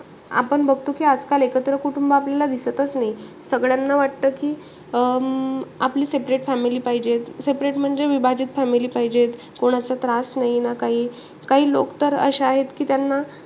आपण बघतो कि एकत्र कुटुंब आपल्याला दिसतचं नाई. सगळ्यांना वाटत कि, अं आपली separate family पाहिजे. Seperate family म्हणजे, विभाजित family पाहिजे. कोणाचा त्रास नाई ना काई. काही लोक तर अशे आहे कि त्यांना,